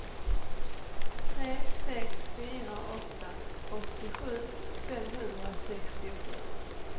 tre sex fyra åtta åttiosju femhundrasextiosju